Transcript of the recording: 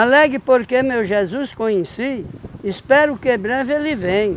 porque meu Jesus conheci, espero que breve ele vem